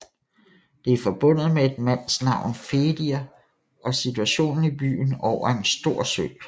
Det er forbundet med et mandsnavn Fedir og situationen i byen over en stor sø